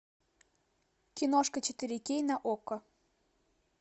киношка четыре кей на окко